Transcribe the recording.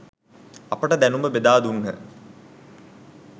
අපට දැනුම බෙදා දුන්හ.